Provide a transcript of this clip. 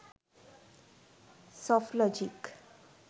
softlogic